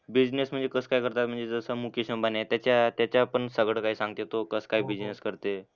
Business म्हणजे कसं काय करतात म्हणजे जसं मुकेश अंबानी आहे. त्याच्या त्याच्यावर पण सगळं काही सांगते तो कसं काय बिझनेस करते.